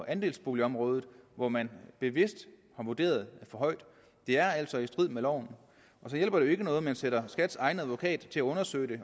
andelsboligområdet hvor man bevidst har vurderet for højt og det er altså i strid med loven og så hjælper det ikke noget at man sætter skats egen advokat til at undersøge det